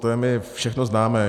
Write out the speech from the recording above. To je mi všechno známé.